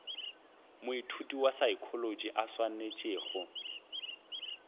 moithuti wa saekholotši a swanetšego